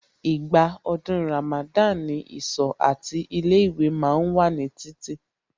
Ìgbà ọdún Ramada ni ìsọ̀ àti ilé ìwé ma ń wà ní títì